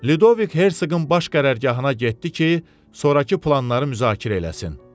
Lyudovik Hersoqun baş qərargahına getdi ki, sonrakı planları müzakirə eləsin.